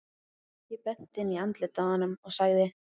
Ég benti inn í andlitið á honum og sagði